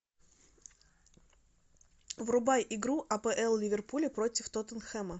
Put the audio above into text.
врубай игру апл ливерпуля против тоттенхэма